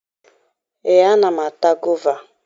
Ee, ana m ata gova